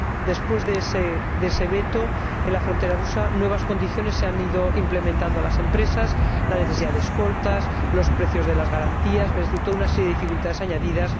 Después de ese veto en la frontera rusa, nuevas condiciones se han ido implementando en las empresas la necesidad de escoltas o los precios de las garantías, es decir, toda una serie de dificultades añadidas.